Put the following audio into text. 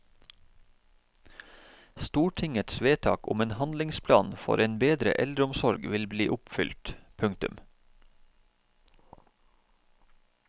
Stortingets vedtak om en handlingsplan for en bedre eldreomsorg vil bli oppfylt. punktum